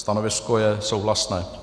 Stanovisko je souhlasné.